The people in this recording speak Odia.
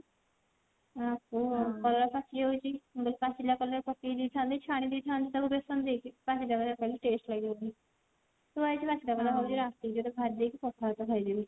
ପକେଇଦେଇଥାନ୍ତି ଛାଣିଦେଇଥାନ୍ତି ତାକୁ ବେସନ ଦେଇକି କହିଲେ taste ଲାଗିବନି ଥୁଆ ହେଇଛି ବାକି ତକ ଭାବୁଛି ରାତି ଭିତରେ ସାରିଦେଇକି ପଖାଳ ଭାତ ଖାଇଦେବି